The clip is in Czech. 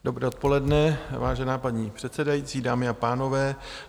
Dobré odpoledne, vážená paní předsedající, dámy a pánové.